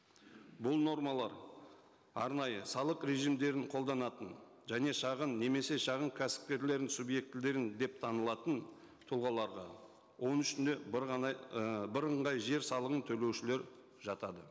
бұл нормалар арнайы салық режимдерін қолданатын және шағын немесе шағын кәсіпкерлердің субъектілері деп танылатын тұлғаларға оның ішіне бір ғана ііі бірыңғай жер салығын төлеушілер жатады